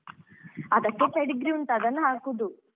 ಅದಕ್ಕೆ Pedigree ಉಂಟು ಅದನ್ನ್ ಹಾಕುದು.